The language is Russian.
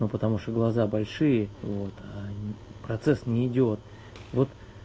ну потому что глаза большие вот а не процесс не идёт вот